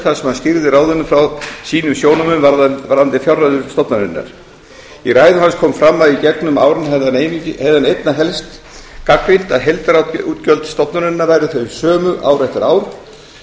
sem hann skýrði ráðinu frá sínum sjónarmiðum varðandi fjárreiður stofnunarinnar í ræðu hans kom fram að í gegnum árin hefði hann einna helst gagnrýnt að heildarútgjöld stofnunarinnar væru þau sömu ár eftir ár